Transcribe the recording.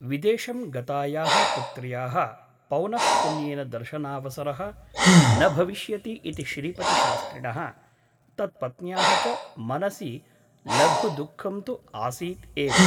विदेशं गतायाः पुत्र्याः पौनः पुन्येन दर्शनावसरः न भविष्यति इति श्रीपतिशास्त्रिणः तत्पत्न्याः च मनसि लघुदुःखं तु आसीत् एव ।